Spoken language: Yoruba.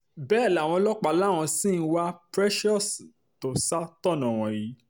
bẹ́ẹ̀ làwọn ọlọ́pàá làwọn ṣì ń wá precious tó ṣàtọ̀nà wọn yìí